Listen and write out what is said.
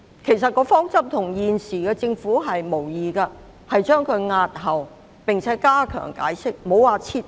其實方針與政府現時的說法無異，予以押後並加強解釋，並無提到撤回。